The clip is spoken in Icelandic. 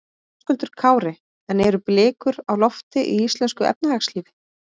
Höskuldur Kári: En eru blikur á lofti í íslensku efnahagslífi?